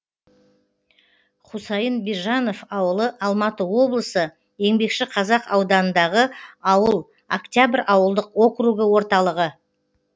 хұсайын бижанов ауылы алматы облысы еңбекшіқазақ ауданындағы ауыл октябрь ауылдық округі орталығы